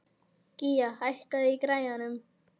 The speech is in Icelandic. Gía, hækkaðu í græjunum.